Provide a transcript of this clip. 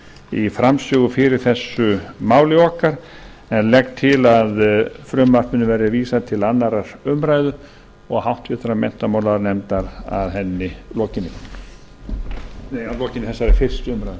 í framsögu fyrir þessu máli okkar en legg til að frumvarpinu verði vísað til annarrar umræðu og háttvirtur menntamálanefndar að lokinni þessari fyrstu umræðu